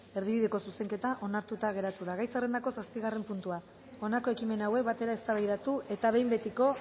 erdibideko zuzenketa onartuta geratu da gai zerrendako zazpigarren puntua honako ekimen hauek batera eztabaidatu eta behin betiko